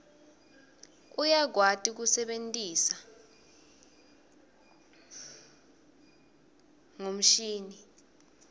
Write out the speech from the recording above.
uyakwati kuse bentisa ngonduo mshini